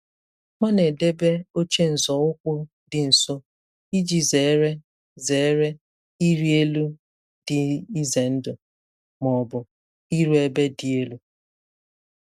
Ọ na-edebe oche nzọụkwụ dị nso iji zere zere ịrị elu dị ize ndụ ma ọ bụ iru ebe dị elu.